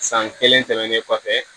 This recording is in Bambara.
San kelen tɛmɛnen kɔfɛ